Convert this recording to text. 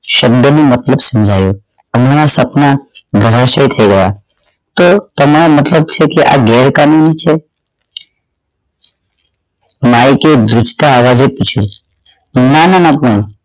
શન્ડની મતલબ સમજાવ્યો હમણાં સપના ધરાશાઈ થઈ ગયા તો તમારા મતલબ શું કે આ ગેરકાનૂની છે માઇક એ ધ્રૂજકા અવાજે પૂછ્યું નાના ના ના પણ